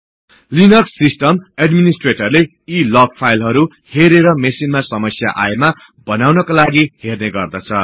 Linux system एडमिनिस्ट्रेटरले यी log फाईलहरु हेरेर मेशिनमा समस्या आएमा बनाउनका लागि हर्ने गर्दछ